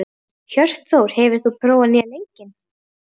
Hjörtþór, hefur þú prófað nýja leikinn?